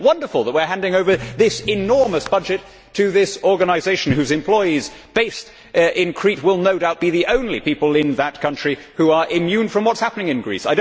It is wonderful that we are handing over this enormous budget to this organisation whose employees based in Crete will no doubt be the only people in that country who are immune from what is happening in Greece.